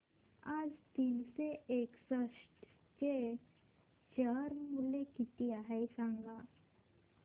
आज नीतेश एस्टेट्स चे शेअर मूल्य किती आहे सांगा